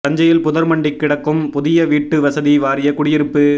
தஞ்சையில் புதர் மண்டி கிடக்கும் புதிய வீட்டு வசதி வாரிய குடியிருப்பு